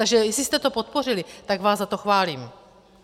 Takže jestli jste to podpořili, tak vás za to chválím.